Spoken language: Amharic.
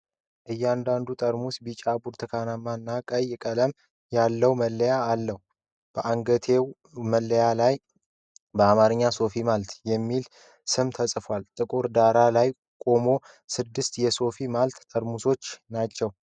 እያንዳንዱ ጠርሙስ ቢጫ፣ ብርቱካንማ እና ቀይ ቀለም ያለው መለያ አለው። በአንገትጌው መለያ ላይ በአማርኛ "ሶፊ ማልት" የሚል ስም ተጽፏል። ጥቁር ዳራ ላይ የቆሙ ስድስት የሶፊ ማልት ጠርሙሶች ናቸው።